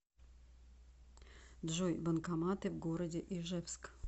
джой банкоматы в городе ижевск